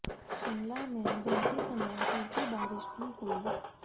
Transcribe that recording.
शिमला में दिन के समय हल्की बारिश भी हुई